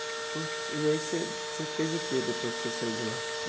Putz e aí você você fez o que depois que você saiu de lá?